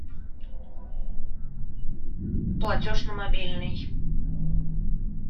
платеж на мобильный